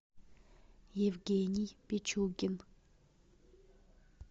евгений пичугин